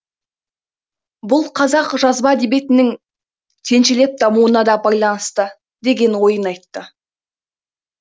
бұл қазақ жазба әдебиетінің кенжелеп дамуына да байланысты деген ойын айтты